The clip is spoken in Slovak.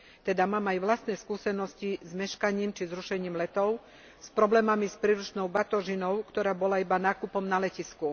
Teda mám aj vlastné skúsenosti s meškaním či zrušením letov, s problémami s príručnou batožinou, ktorá bola iba nákupom na letisku.